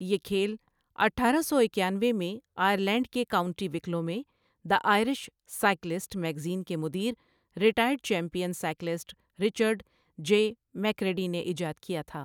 یہ کھیل اٹھارہ سو اکیانوے میں آئرلینڈ کے کاؤنٹی وکلو میں دی آئرش سائیکلسٹ میگزین کے مدیر retired champion cyclist Richard J McCready نے ایجاد کیا تھا۔